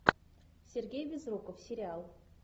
сергей безруков сериал